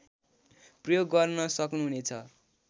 प्रयोग गर्न सक्नुहुनेछ